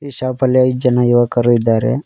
ಈ ಶಾಪ್ ಅಲ್ಲಿ ಐದು ಜನ ಯುವಕರು ಇದ್ದಾರೆ.